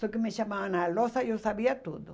Só que me chamavam na lousa e eu sabia tudo.